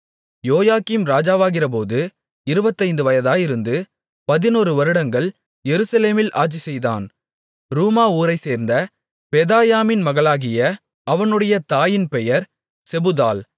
யோயாக்கீம் ராஜாவாகிறபோது இருபத்தைந்து வயதாயிருந்து பதினொரு வருடங்கள் எருசலேமில் ஆட்சிசெய்தான் ரூமா ஊரைச்சேர்ந்த பெதாயாமின் மகளாகிய அவனுடைய தாயின் பெயர் செபுதாள்